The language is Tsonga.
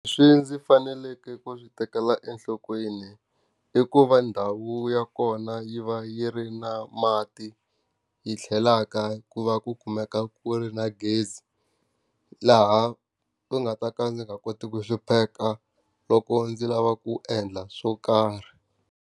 Ndzi faneleke ku swi tekela enhlokweni, i ku va ndhawu ya kona yi va yi ri na mati, yi tlhelaka ku va ku kumeka ku ri na gezi. Laha ndzi nga ta ka ndzi nga koti ku hlupheka loko ndzi lava ku endla swo karhi.